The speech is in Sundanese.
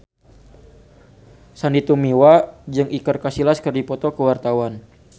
Sandy Tumiwa jeung Iker Casillas keur dipoto ku wartawan